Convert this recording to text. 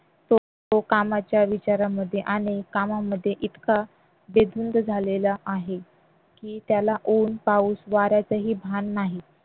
तो कामाच्या विचारांमध्ये आणि कामामध्ये इतका बेधुंद झालेला आहे की त्याला ऊन पाऊस वाऱ्याचे ही भान नाही